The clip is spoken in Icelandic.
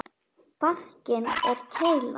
Barkinn er keila.